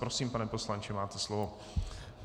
Prosím, pane poslanče, máte slovo.